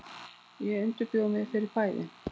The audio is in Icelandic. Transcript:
Ég undirbjó mig fyrir bæði.